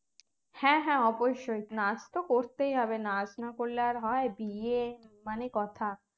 হ্যাঁ হ্যাঁ অবশ্যই নাচ তো করতেই হবে নাচ না করলে আর হয় বিয়ে মানে কথা